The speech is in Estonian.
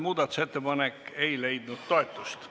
Muudatusettepanek ei leidnud toetust.